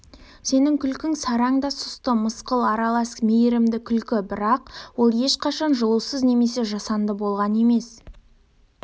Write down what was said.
сенің күлкің сараң да сұсты мысқыл аралас мейірімді күлкі бірақ ол ешқашан жылусыз немесе жасанды болған емес